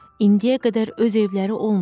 İndiyə qədər öz evləri olmayıb.